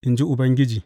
in ji Ubangiji.